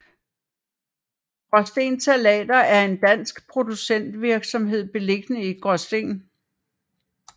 Graasten Salater er en dansk producentvirksomhed beliggende i Gråsten